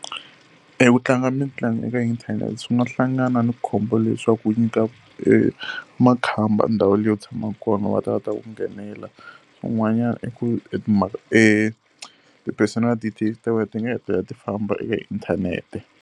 E ku tlanga mitlangu eka inthanete swi nga hlangana na khombo leswaku ku nyika makhamba ndhawu leyi u tshamaka kona va ta va ta ku nghenela. Un'wanyana eku a personal details ta wena ti nga hetelela ti famba eka inthanete.